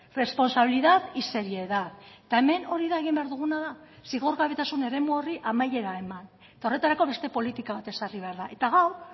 responsabilidad y seriedad eta hemen hori da egin behar duguna da zigorgabetasun eremu horri amaiera eman eta horretarako beste politika bat ezarri behar da eta gaur